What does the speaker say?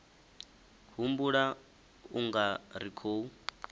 humbula u nga ri khou